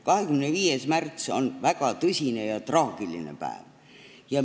25. märts on väga tõsine ja traagiline päev.